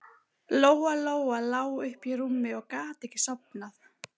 Lóa-Lóa lá uppi í rúmi og gat ekki sofnað.